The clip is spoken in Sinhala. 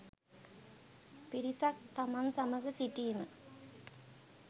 පිරිසක් තමන් සමඟ සිටීම